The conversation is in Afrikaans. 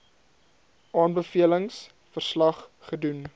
aanbevelings verslag gedoen